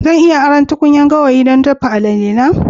Zan iya aron tukunyar gawayi don dafa moi-moi na?